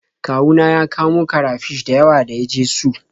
Kawu na ya kamo karafish da yawa da ya je su.